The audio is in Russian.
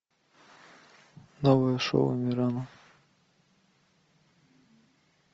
новое шоу амирана